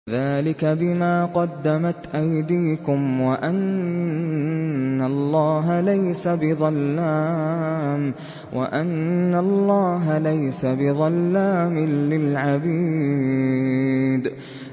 ذَٰلِكَ بِمَا قَدَّمَتْ أَيْدِيكُمْ وَأَنَّ اللَّهَ لَيْسَ بِظَلَّامٍ لِّلْعَبِيدِ